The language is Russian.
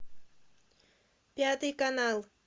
пятый канал